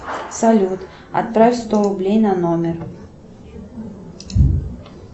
салют отправь сто рублей на номер